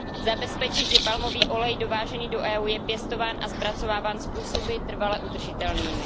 Zabezpečit, že palmový olej dovážený do Evropské unie je pěstován a zpracováván způsoby trvale udržitelnými.